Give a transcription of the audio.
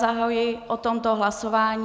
Zahajuji o tomto hlasování...